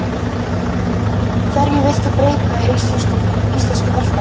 Hverju vilt þú breyta í íslenska boltanum?